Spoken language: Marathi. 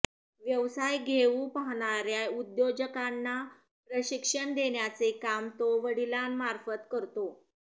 व्यवसाय येऊ पाहणार्या उद्योजकांना प्रशिक्षण देण्याचे काम तो वडिलांमार्फत करतो